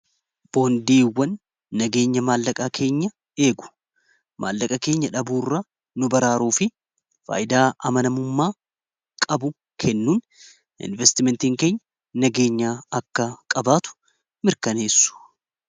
boondiiiwwan nageenya maallaqaa keenya eegu maallaqaa keenya dhabuu irra nu baraaruu fi faaydaa amanamummaa qabu kennuun investimentiin keenya nageenya akka qabaatu mirkaneessu